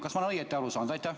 Kas ma olen õigesti aru saanud?